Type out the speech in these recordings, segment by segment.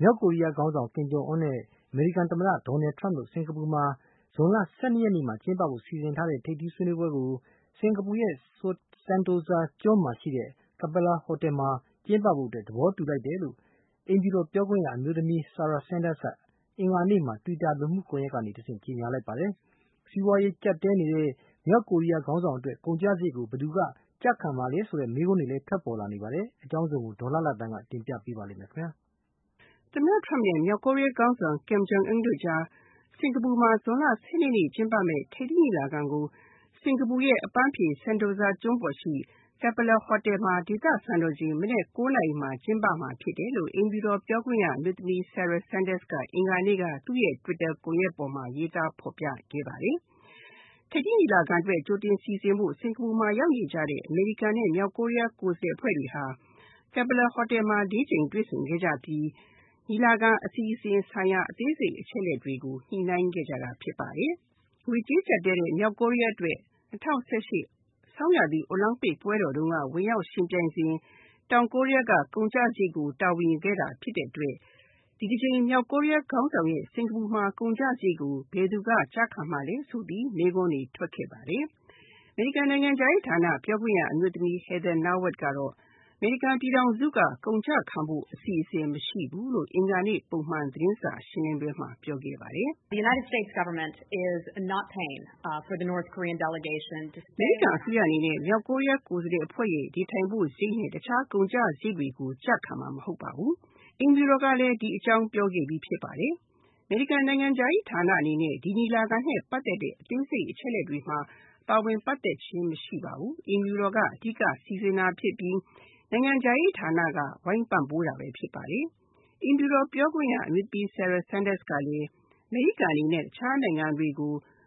မြောက်ကိုရီးယားခေါင်းဆောင် Kim Jong Un နဲ့ အမေရိကန်သမ္မတ Donald Trumpတို့ စင်္ကာပူမှာ ဇွန်လ ၁၂ ရက်နေ့မှာတွေ့ဖို့စီစဉ်ထားတဲ့ ထိပ်သီးဆွေးနွေးပွဲကို စင်္ကာပူ sentosa ကျွန်းမှာရှိတဲ့ Capella Hotel မှာကျင်းပဖို့ သဘောတူလိုက်တယ်လို့ အိမ်ဖြူတော်ပြောခွင့်ရအမျိုးသမီး Sarah Huckabee Sanders က အင်္ဂါနေ့က လူမှုကွန်ယက်ကနေ တဆင့်ကြေညာလိုက်ပါတယ်။ စီးပွားရေးကျပ်တည်းနေတဲ့ မြောက်ကိုရီးယားခေါင်းဆောင်အတွက် ဘယ်သူက ကုန်ကျစားရိတ် ကို ဘယ်သူက ကျခံမှာလဲဆိုတဲ့ မေးခွန်းတွေလည်းထွက်ပေါ်နေပါတယ်။ အကြောင်းစုံကို ဒေါ်လှလှသန်းက တင်ပြမှာပါ။ အမေရိကန်သမ္မတ Donald Trump နဲ့ မြောက်ကိုရီးယားခေါင်းဆောင် Kim Jong Un တို့ စင်္ကာပူမှာ ဇွန်လ ၁၂ ရက်နေ့မှာကျင်းပမယ့် ထိပ်သီးညီလာခံကို စင်္ကာပူရဲ့ အပန်းဖြေ sentosa ကျွန်းမှာရှိတဲ့ Capella Hotel မှာ ဒေသစံတော်ချိန် မနက် ၉ နာရီမှာ ကျင်းမယ်လို့ အိမ်ဖြူတော်ပြောခွင့်ရအမျိုးသမီး Sarah Huckabee Sanders က အင်္ဂါနေ့မှာ သူ့ Twitter ကွန်ယက်မှာ ရေးသားဖော်ပြခဲ့ပါတယ်။ ထိပ်သီးညီလာခံအတွက် ကြိုတင်စီစဉ်ဖို့ စင်္ကာပူမှာ ရောက်နေကြတဲ့ အမေရိကန်နဲ့ မြောက်ကိုရီးယားကိုယ်စားလှယ်အဖွဲ့တွေဟာ Capella Hotel မှာ ၄ ကြိမ်တွေ့ဆုံခဲ့ကြပြီး အစီအစဉ်ဆိုင်ရာ အသေးစိတ်အချက်အလက်တွေကို ညှိနှိုင်းခဲ့ကြတာဖြစ်ပါတယ်။ ငွေကြေးကျပ်တည်းနေတဲ့ မြောက်ကိုရီးယားအတွက် ၂၀၁၈ ဆောင်းရာသီ အိုလံပစ်ပွဲတော်တုန်းက ဝင်ရောက်ယှဉ်ပြိုင်စဉ် တောင်ကိုရီးယားက ကုန်ကျစားရိတ်ကို တာဝန်ယူခဲ့တာဖြစ်တဲ့အတွက် အခု မြောက်ကိုရီးယားခေါင်းဆောင်ရဲ့ စင်္ကာပူမှာကုန်ကျစားရိတ်အတွက် ဘယ်သူက ခံမှာလဲဆိုပြီး မေးခွန်းတွေ ထွက်ခဲ့ပါတယ်။ အမေရိကန်နိုင်ငံခြားရေးဌာနပြောခွင့်ရ Heather Nauert ကတော့ အမေရိကန်ပြည်ထောင်စုက ကုန်ကျခံဖို့အစီအစဉ်မရှိဘူးလို့ အင်္ဂါနေ့ ပုံမှန် သတင်းစာရှင်းလင်းပွဲမှာ ပြောခဲ့ပါတယ်။ "အမေရိကန်အစိုးရအနေနဲ့ မြောက်ကိုရီးယားကိုယ်စားလှယ်အဖွဲ့ရဲ့ နေထိုင်စရိတ်နဲ့ တခြားကုန်ကျစားရိတ်တွေကို ကျခံမှာမဟုတ်ပါဘူး။ အိမ်ဖြူတော်ကလည်း ဒီအကြောင်းပြောခဲ့ပြီးဖြစ်ပါတယ်။ အမေရိကန်နိုင်ငံခြားရေးဌာနအနေနဲ့ ညီလာခံနဲ့ ပတ်သက်တဲ့ အသေးစိတ်အချက်အလက်တွေမှာ ပါဝင်ပတ်သက်ခြင်းမရှိပါဘူး။ အိမ်ဖြူတော်က အဓိက စီစဉ်တာဖြစ်ပြီး နိုင်ငံခြားရေးဌာနက ဝိုင်းပံ့ပိုးတာပါ။" အိမ်ဖြူတော်ပြောခွင့်ရအမျိုးသမီး Sarah Huckabee Sanders က အမေရိကန်အနေနဲ့ တခြားနိုင်ငံတွေ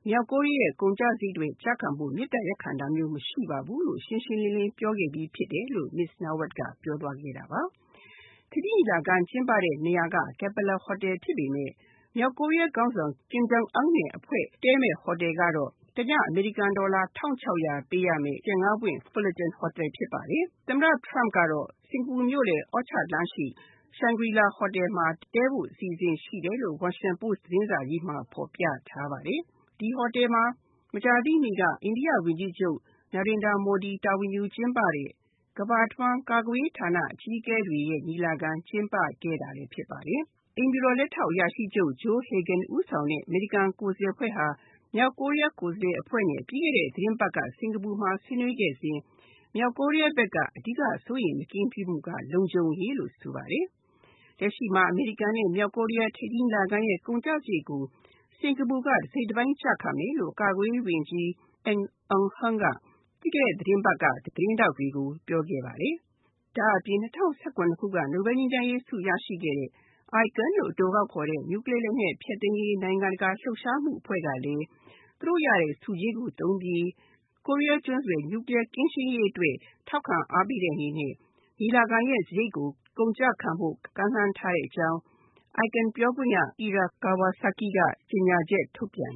မြောက်ကိုရီးယားကုန်ကျစားရိတ် ကျခံဖို့အတွက် မေတ္တာရပ်ခံတာမျိုးမရှိပါဘူးလို့ ရှင်းရှင်းလင်းလင်းပြောခဲ့ပြီးဖြစ်တယ်လို့ Heather Nauert ကပြောသွားခဲ့တာပါ။ ထိပ်သီးညီလာခံကျင်းပတဲ့နေရာက Capella Hotel ဖြစ်ပေမယ့် မြောက်ကိုရီးယားခေါင်းဆောင် Kim Jong Un နဲ့ အဖွဲ့တည်းမယ့်ဟိုတယ်ကတော့ တည အမေရိကန်ဒေါ်လာ ၁၆၀၀ ပေးရမယ့် ကြယ် ၅ ပွင့် Fullerton hotel ဖြစ်ပါတယ်။ အမေရိကန်သမ္မတ Donald Trumpကတော့ စင်္ကာပူမြို့ အော်ချာလမ်းရှိ Shangri La Hotel မှာ တည်းဖို့အစီအစဉ်ရှိတယ်လို့ ဝါရှင်တန်ပို့စ် သတင်းစာမှာ ဖော်ပြထားပါတယ်။ ဒီဟိုတယ်မှာ မကြာသေးခင်က အိန္ဒိယ ဝန်ကြီးချုပ် မိုဒီတာဝန်ယူကျင်းပတဲ့ ကမ္ဘာတဝှမ်း ကာကွယ်ရေးဌာန အကြီးအကဲတွေရဲ့ ညီလာခံ ကျင်းပခဲ့တာဖြစ်ပါတယ်။ အိမ်ဖြူတော်လက်ထောက်အရာရှိချုပ် Joe Hagin ဦးဆောင်တဲ့ အမေရိကန်ကိုယ်စားလှယ်အဖွဲ့ဟာ မြောက်ကိုရီးယားကိုယ်စားလှယ်အဖွဲ့နဲ့ ပြီးခဲ့တဲ့ သီတင်းပတ်က စင်္ကာပူမှာ ဆွေးနွေးခဲ့စဉ် မြောက်ကိုရီးယားဘက်က အဓိက စိုးရိမ်မကင်းဖြစ်မှုက လုံခြုံရေးလို့ ဆိုပါတယ်။ လက်ရှိမှာ အမေရိကန်နဲ့ မြောက်ကိုရီးယားထိပ်သီးညီလာခံရဲ့ ကုန်ကျစားရိတ်ကို စင်္ကာပူက တစိတ်တပိုင်းကျခံမယ်လို့ ကာကွယ်ရေးဝန်ကြီး က သတင်းထောက်တွေကိုပြောခဲ့ပါတယ်။ ဒါ့အပြင် ၂၀၁၇ တုန်းက နိုဘလ်ဆုရရှိခဲ့တဲ့ ican လို့အတိုခေါ်တဲ့ နျူကလီးယားလက်နက်ဖျက်သိမ်းရေး နိုင်ငံတကာလှုပ်ရှားမှုအဖွဲ့ကလည်း သူတို့ရတဲ့ ဆုကြေးကိုသုံးပြီး ကိုရီးယားကျွန်းဆွယ် နျူကလီးယားကင်းရှင်းရေးအတွက်ကို ထောက်ပံ့တဲ့အနေနဲ့ ညီလာခံရဲ့ စားရိတ်ကို ကုန်ကျခံဖို့ ကမ်းလှမ်းထားတဲ့အကြောင်း ican ပြောခွင့်ရ Akira Kawasaki က ကြေညာချက်ထုန်ပြန်